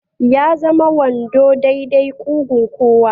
Ya zama wando dai-dai ƙugun kowa